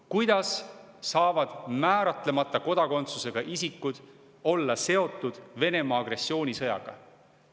" Kuidas saavad määratlemata kodakondsusega isikud olla seotud Venemaa agressioonisõjaga?